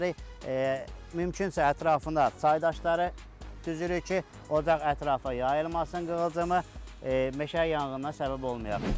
Mümkünsə ətrafına çaydaşları düzürük ki, ocaq ətrafa yayılmasın qığılcımi, meşə yanğınına səbəbməyək.